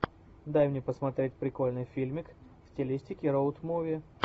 дай мне посмотреть прикольный фильмик в стилистике роуд муви